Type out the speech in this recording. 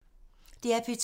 DR P2